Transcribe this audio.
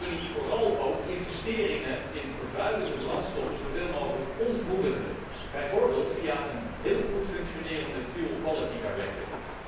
Moeten wij niet vooral ook investeringen in vervuilende brandstoffen zoveel mogelijk ontmoedigen, bijvoorbeeld via een heel goed functionerende fuel quality directive